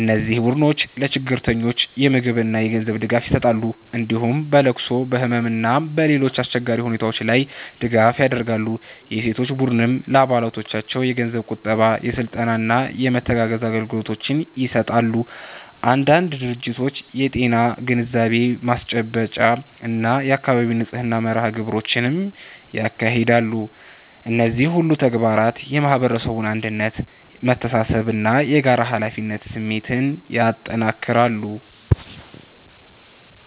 እነዚህ ቡድኖች ለችግረኞች የምግብና የገንዘብ ድጋፍ ይሰጣሉ፣ እንዲሁም በለቅሶ፣ በህመም እና በሌሎች አስቸጋሪ ሁኔታዎች ላይ ድጋፍ ያደርጋሉ። የሴቶች ቡድኖችም ለአባሎቻቸው የገንዘብ ቁጠባ፣ የስልጠና እና የመተጋገዝ አገልግሎቶችን ይሰጣሉ። አንዳንድ ድርጅቶች የጤና ግንዛቤ ማስጨበጫ እና የአካባቢ ንጽህና መርሃ ግብሮችንም ያካሂዳሉ። እነዚህ ሁሉ ተግባራት የማህበረሰቡን አንድነት፣ መተሳሰብ እና የጋራ ኃላፊነት ስሜት ያጠናክራሉ።